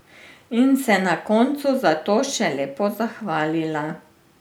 In se na koncu za to še lepo zahvalila.